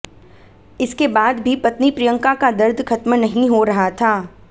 इसके बाद भी पत्नी प्रियंका का दर्द खत्म नहीं हो रहा था